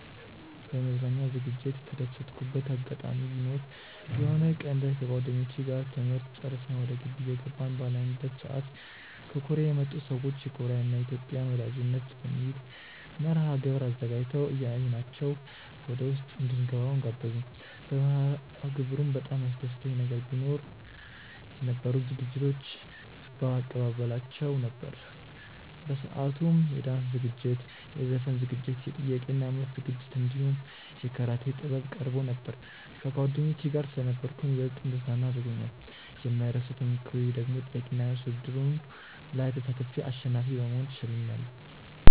በመዝናኛ ዝግጅት የተደሰትኩበት አጋጣሚ ቢኖር የሆነ ቀን ላይ ከጓደኞቼ ጋር ትምህርት ጨርሰን ወደ ግቢ እየገባን ባለንበት ሰዓት ከኮርያ የመጡ ሰዎች የኮርያን እና የኢትዮጵያን ወዳጅነት በሚል መርሐግብር አዘጋጅተው አየናቸው ወደውስጥ እንድንገባም ጋበዙን። በመርሐግብሩም በጣም ያስደሰተኝ ነገር ቢኖ የነበሩት ዝግጅቶች እባ አቀባበላቸው ነበር። በሰአቱም የዳንስ ዝግጅት፣ የዘፈን ዝግጅት፣ የጥያቄ እና መልስ ዝግጅት እንዲሁም የካራቴ ጥበብ ቀርቦ ነበር። ከጓደኞቼ ጋር ስለነበርኩም ይበልጥ እንድዝናና አድርጎኛል። የማይረሳው ተሞክሮዬ ደግሞ ጥያቄ እና መልስ ውድድሩ ላይ ተሳትፌ አሸናፊ በመሆን ተሸልሜያለው።